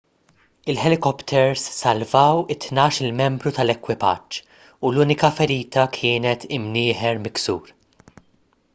il-ħelikopters salvaw it-tnax-il membru tal-ekwipaġġ u l-unika ferita kienet imnieħer miksur